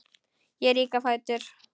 Ég rýk á fætur.